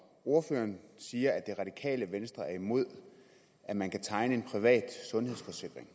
ordføreren siger at det radikale venstre er imod at man kan tegne en privat sundhedsforsikring